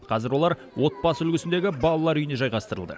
қазір олар отбасы үлгісіндегі балалар үйіне жайғастырылды